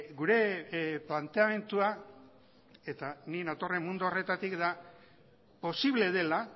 gure planteamendua eta ni natorren mundu horretatik da posible dela